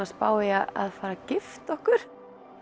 spá í að gifta okkur